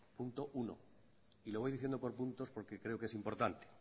punto uno y lo voy diciendo por puntos porque creo que es importante